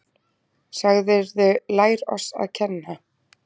Sagðirðu lær oss að kenna!